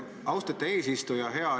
Austet eesistuja!